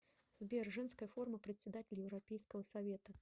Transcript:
сбер женская форма председатель европейского совета